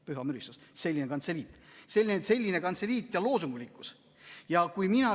" Püha müristus, selline kantseliit ja loosunglikkus!